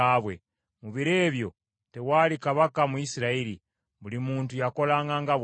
Mu biro ebyo tewaali kabaka mu Isirayiri; buli muntu yakolanga nga bw’ayagala.